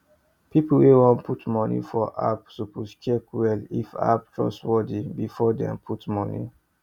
people wey wan put money for app suppose check well if app trustworthy before dem put money